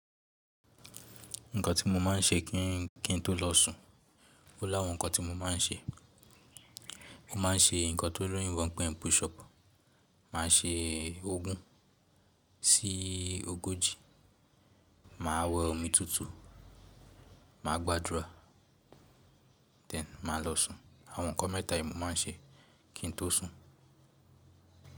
Nǹkan tí mo máa ń ṣe kí n ki n tó lọ sùn. Ó láàwọn nǹkan tí mo máa ń ṣe. Mo máa ń ṣe nǹkan tó lóyinbo n pè push up, mà á ṣe ee. Ogun sí ogójì, mà á we omi tútù, mà á gbàdúrà, then mà á lọ sùn. Àwọn nǹkan mẹ́ta yìí mo máa ń ṣe kín n tó sùn.